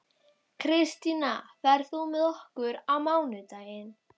Kristína, ferð þú með okkur á mánudaginn?